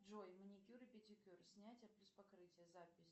джой маникюр и педикюр снятие плюс покрытие запись